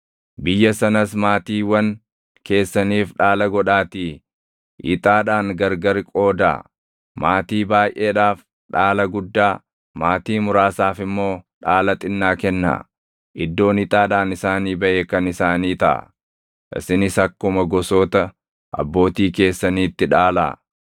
Biyya sanas maatiiwwan keessaniif dhaala godhaatii ixaadhaan gargari qoodaa; maatii baayʼeedhaaf dhaala guddaa, maatii muraasaaf immoo dhaala xinnaa kennaa. Iddoon ixaadhaan isaanii baʼe kan isaanii taʼa. Isinis akkuma gosoota abbootii keessaniitti dhaalaa.